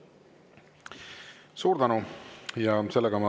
Suur tänu!